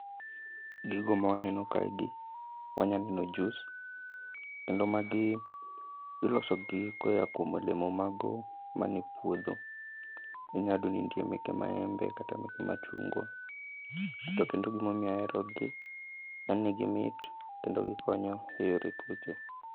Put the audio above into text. Gigo ma waneno kae gi, wanya neno juis. Kendo magi ilosogi koya kuom olemo mago mane puodho, inya yudo ni nitie meke maembe kata meke machungwa. To kendo gimomiyo aherogi, en ni gimit to kendo gikonyo e yore tuoche.